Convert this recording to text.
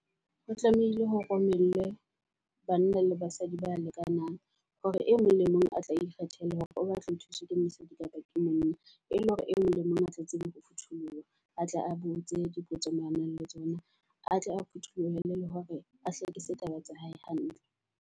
Ho tlamehile ho romellwe banna le basadi ba lekanang hore e mong le mong a tla ikgethela hore o batla a thuswe ke mosadi kapa ke monna. E leng hore e mong le mong a tle tsebe ho phutholoha, a tle a botse dipotso moo a nang le tsona. Atle a phuthulohe le hore a hlakise taba tsa hae hantle.